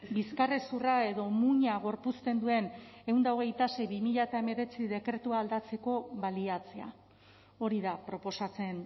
bizkarrezurra edo muina gorpuzten duen ehun eta hogeita sei barra bi mila hemeretzi dekretua aldatzeko baliatzea hori da proposatzen